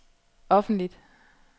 offentligt